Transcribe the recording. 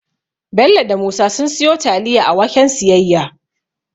Bello da Musa sun siyo taliya a waken siyayya